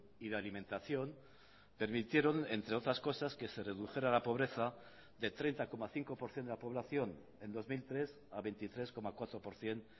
y de alimentación permitieron entre otras cosas que se redujera la pobreza de treinta coma cinco por ciento de la población en dos mil tres a veintitrés coma cuatro por ciento